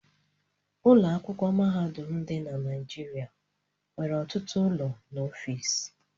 Ụlọ akwụkwọ mahadum dị na Naịjịrịa nwere ọtụtụ ụlọ na ọfiisi.